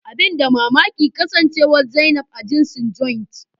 Abin da mamaki kasancewar zainab a jinsin "Joint "